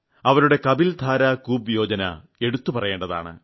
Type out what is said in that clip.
അവരുടെ കപിൽ ധാരാ കൂപ് യോജന എടുത്തു പറയേണ്ടതാണ്